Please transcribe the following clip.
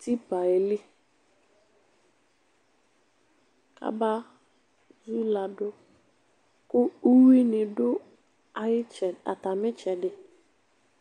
tipa yɛ likabezuladuku uwui ni di ayeʋ , atami itsɛdi